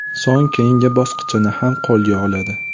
So‘ng keyingi bosqinchini ham qo‘lga oladi.